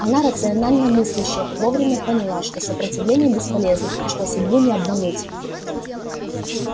одна рационально мыслящая вовремя поняла что сопротивление бесполезно и что судьбу не обмануть